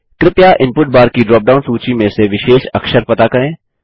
कृपया input bar की drop down सूची में से विशेष अक्षर पता करें